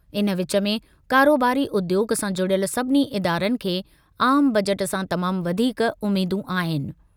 इन विच में कारोबारी उद्योॻु सां जुड़ियल सभिनी इदारनि खे आम बजट सां तमाम वधीक उमेदूं आहिनि।